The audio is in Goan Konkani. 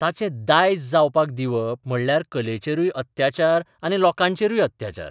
ताचें 'दायज 'जावपाक दिवप म्हणल्यार कलेचेरूय अत्याचार आनी लोकांचेरूय अत्याचार.